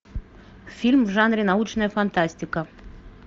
фильм в жанре научная фантастика